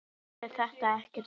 Hrund: Er þetta ekkert erfitt?